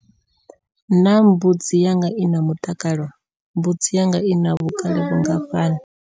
Naa mbudzi yanga i na mutakalo? Mbudzi yanga ina vhukale vhungafhani?